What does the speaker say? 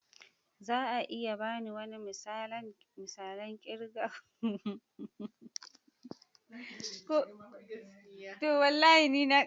Za a iya ba ni wani misalan kirga kuɗin Yorùbá kalmomi kamar "Mr kan"?